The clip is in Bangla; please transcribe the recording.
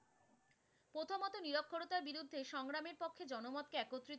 বিরুদ্ধে সংগ্রামের পক্ষে জনমতকে একত্রিত,